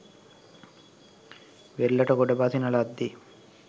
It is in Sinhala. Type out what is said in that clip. වෙරළට ගොඩ බසින ලද්දේ